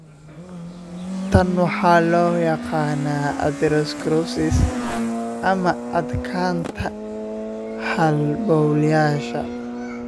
Tan waxaa loo yaqaannaa atherosclerosis, ama adkaanta halbowlayaasha.